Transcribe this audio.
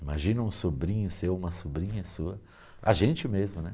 Imagina um sobrinho seu, uma sobrinha sua, a gente mesmo, né?